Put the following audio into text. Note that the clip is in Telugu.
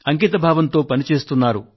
అంకితభావంతో పని చేస్తున్నారు